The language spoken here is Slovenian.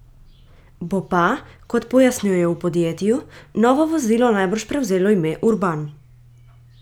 Bo pa, kot pojasnjujejo v podjetju, novo vozilo najbrž prevzelo ime urban.